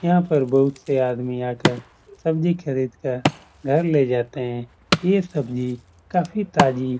यहाँ पर बहुत से आदमी आकर सब्जी खरीद कर घर ले जाते हैं। ये सब्जी काफी ताजी --